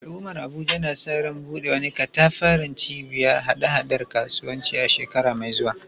Al’ummar Abuja na sa ran buɗe wani katafaren cibiyar haɗa-haɗar kasuwanci a shekara mai zuwa